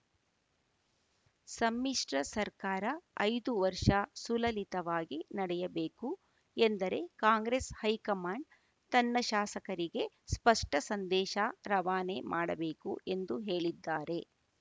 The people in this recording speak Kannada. ಸಮ್ಮಿಶ್ರ ಸರ್ಕಾರ ಐದು ವರ್ಷ ಸುಲಲಿತವಾಗಿ ನಡೆಯಬೇಕು ಎಂದರೆ ಕಾಂಗ್ರೆಸ್‌ ಹೈಕಮಾಂಡ್‌ ತನ್ನ ಶಾಸಕರಿಗೆ ಸ್ಪಷ್ಟಸಂದೇಶ ರವಾನೆ ಮಾಡಬೇಕು ಎಂದು ಹೇಳಿದ್ದಾರೆ